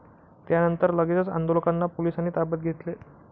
त्यानंतर लगेचच आंदोलकांना पोलिसांनी ताब्यात घेतले.